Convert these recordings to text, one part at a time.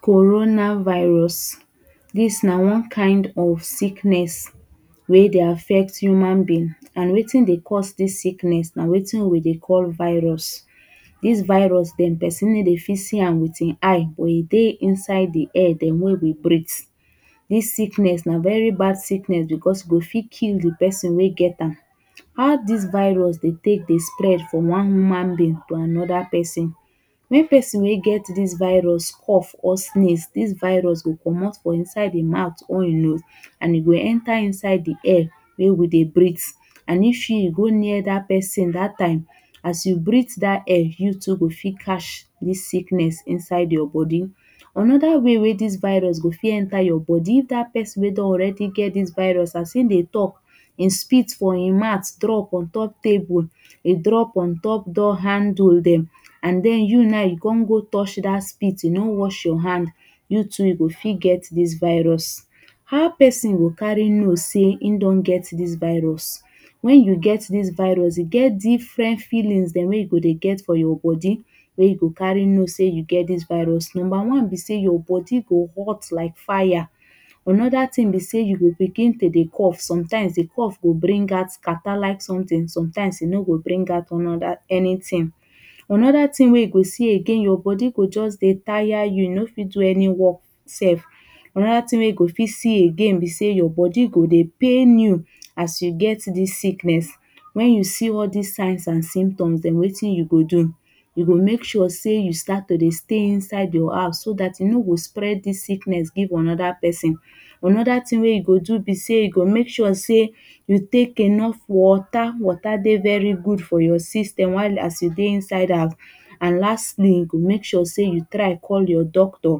Corona virus This na one kind of sickness wey dey affect human being and wetindey cause this sickness nawetin we dey call virus. This virus dem person no dey fit see am with in eye but e dey inside the air demwey we dey breathe this sickness na very bad sickness because e go fit kill the person wey get am. How this virus dey take dey spread from one human being to another person. Make person wey get this virus cough or sneeze, this virus go comot for inside the mouth only and e go enter inside the air wey we go dey breath and if you go near that person that time as you breathe that air you too go fit catch this sickness inside your body. Another way wey this virus go fit enter your body if that person wey don already get this virus as him dey talk him spit for him mouth drop into table e drop on top door handle dem and then you now you come go touch that spit you no wash your hand you too you go fit get this virus how person go carry know say him don get this virus. When you get this virus e get different feelings demwey you go dey get for your body wey you go carry know say you get this virus, number one be say your body go hot like fire another thing be say you go begin to dey cough sometimes the cough go bring out catarrh like something sometimes e no go bring out anything. wey you go see again your body go just dey tire you, you no fit do any work sef another thing wey you go fit see again be say your body go dey pain you you as you get this sickness. When you see all this signs and symptoms them wetin you go do, you go make sure say you start to dey Stay inside your house so that you no go spread this sickness give another person. Another thing wey you go do be say you go make sure say you take enough water. Water dey very good for your system while as you dey inside am and lastly make sure say you try call your doctor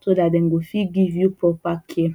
so that dem go fit give you proper care.